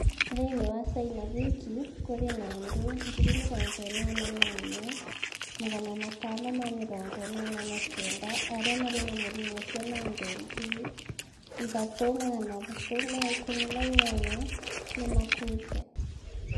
Thĩinĩ wa China gwiki, kũrĩ na andũ 81,589 arĩa marĩ na mũrimũ ũcio na andũ 3,318 nĩ makuĩte.